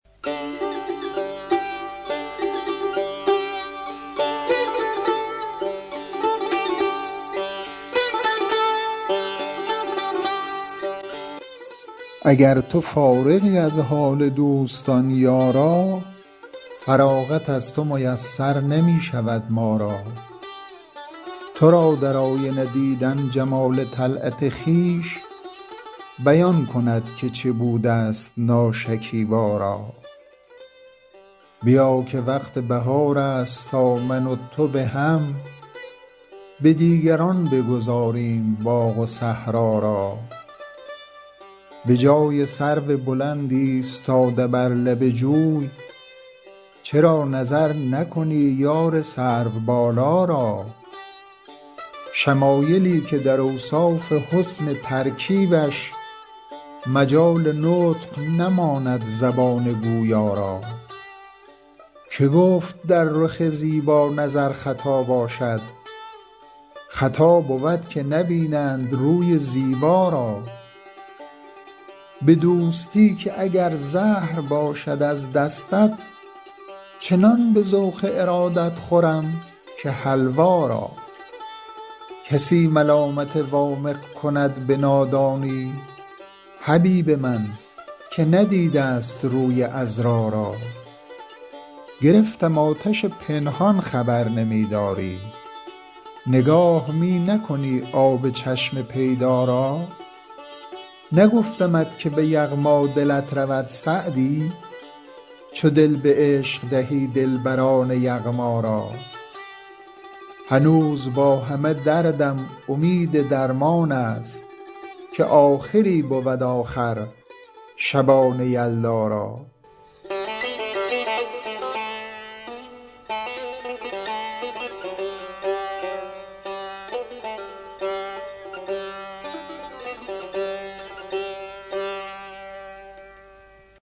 اگر تو فارغی از حال دوستان یارا فراغت از تو میسر نمی شود ما را تو را در آینه دیدن جمال طلعت خویش بیان کند که چه بوده ست ناشکیبا را بیا که وقت بهار است تا من و تو به هم به دیگران بگذاریم باغ و صحرا را به جای سرو بلند ایستاده بر لب جوی چرا نظر نکنی یار سروبالا را شمایلی که در اوصاف حسن ترکیبش مجال نطق نماند زبان گویا را که گفت در رخ زیبا نظر خطا باشد خطا بود که نبینند روی زیبا را به دوستی که اگر زهر باشد از دستت چنان به ذوق ارادت خورم که حلوا را کسی ملامت وامق کند به نادانی حبیب من که ندیده ست روی عذرا را گرفتم آتش پنهان خبر نمی داری نگاه می نکنی آب چشم پیدا را نگفتمت که به یغما رود دلت سعدی چو دل به عشق دهی دلبران یغما را هنوز با همه دردم امید درمان است که آخری بود آخر شبان یلدا را